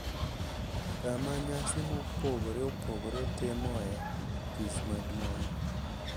Kama nyasi mopogore opogore timoe tich maduong’